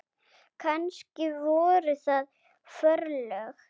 Kannski voru það forlög.